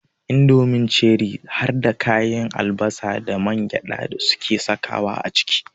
Indomin Ceri harda ganyen albasa da mangyaɗa suke sakawa a ciki.